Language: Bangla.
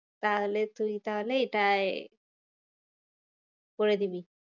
তাহলে তুই তাহলে এটায় করে দিবি।